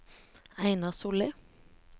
Einar Solli